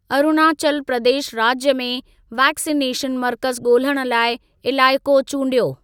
अरुणाचल प्रदेश राज्य में वैक्सिनेशन मर्कज़ ॻोल्हण लाइ इलाइक़ो चूंडियो।